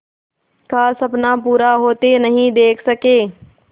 का सपना पूरा होते नहीं देख सके